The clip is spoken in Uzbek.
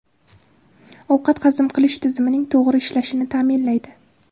Ovqat hazm qilish tizimining to‘g‘ri ishlashini ta’minlaydi.